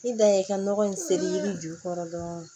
I dan ye i ka nɔgɔ in seli jukɔrɔ dɔrɔn